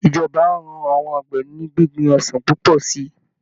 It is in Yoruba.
Ìjọba á ran àwọn àgbẹ̀ ní gbíngbin ọsàn púpọ̀ sí i